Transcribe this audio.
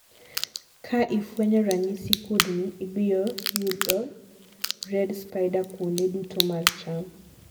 kaa ifuenyo ranyisi kudni, ibiyo yudo red spider kuonde duto mar cham